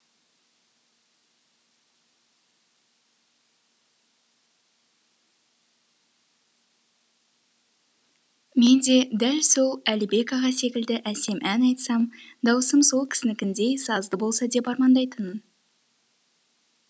мен де дәл сол әлібек аға секілді әсем ән айтсам дауысым сол кісінікіндей сазды болса деп армандайтынмын